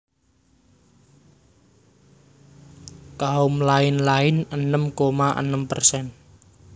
Kaum lain lain enem koma enem persen